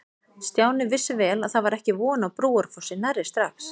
Stjáni vissi vel að það var ekki von á Brúarfossi nærri strax.